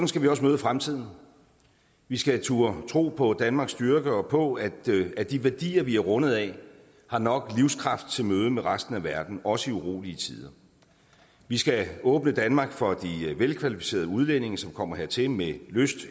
skal vi også møde fremtiden vi skal turde tro på danmarks styrke og på at at de værdier vi er rundet af har nok livskraft til mødet med resten af verden også i urolige tider vi skal åbne danmark for de velkvalificerede udlændinge som kommer hertil med lyst